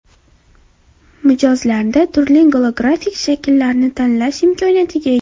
Mijozlarda turli golografik shakllarni tanlash imkoniyati ega.